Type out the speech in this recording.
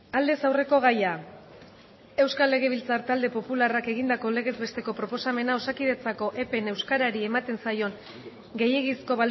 aldez aurreko gaia euskal legebiltzar talde popularrak egindako legez besteko proposamena osakidetzako epen euskarari ematen zaion gehiegizko